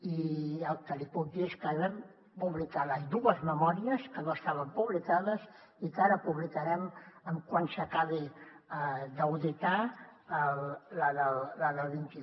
i el que li puc dir és que vam publicar les dues memòries que no estaven publicades i que ara publicarem tan aviat com s’acabi d’auditar la del vint un